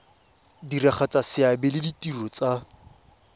diragatsa seabe le ditiro tsa